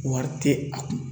Wari tɛ a kun.